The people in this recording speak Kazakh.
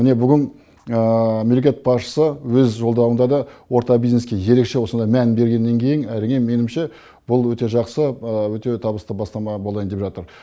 міне бүгін мемлекет басшысы өз жолдауында да орта бизнеске ерекше осындай мән бергеннен кейін әрине меніңше бұл өте жақсы өте табысты бастама болайын деп жатыр